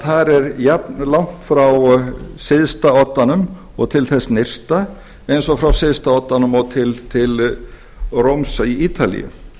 þar er jafnlangt frá syðsta oddanum og til þess nyrsta eins og frá syðsta oddanum til rómar á ítalíu